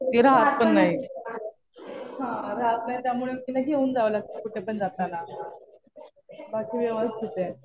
ती राहात पण नाही. हा राहात नाही त्यामुळे तिला घेऊन जावं लागतं. कुठेपण जाताना. बाकी व्यवस्थित आहे.